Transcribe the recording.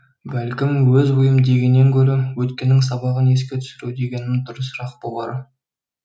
бәлкім өз ойым дегеннен гөрі өткеннің сабағын еске түсіру дегенім дұрысырақ болар